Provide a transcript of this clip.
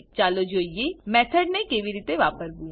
ચાલો જોઈએ મેથડ ને કેવી રીતે વાપરવું